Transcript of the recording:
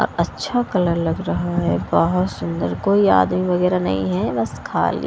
और अच्छा कलर लग रहा है बहोत सुंदर कोई आदमी वगैरा नहीं है बस खाली--